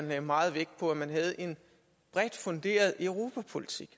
lagde meget vægt på at man havde en bredt funderet europapolitik